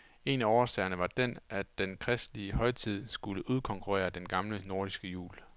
En af årsagerne var den, at den kristne højtid skulle udkonkurrere den gamle nordiske jul.